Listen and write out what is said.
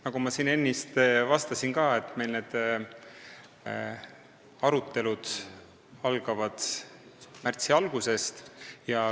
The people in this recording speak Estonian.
Nagu ma ennist vastasin, need arutelud algavad meil märtsi alguses.